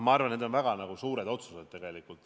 Ma arvan, et need on väga suured otsused.